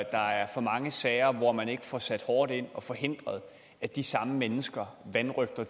der er for mange sager hvor man ikke får sat hårdt ind og forhindret at de samme mennesker vanrøgter